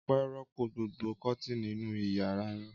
Ọpẹ́ rọ́pò gbogbo kọ́tíìnì inú ìyàrá rẹ̀?